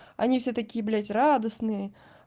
они все такие блять радостные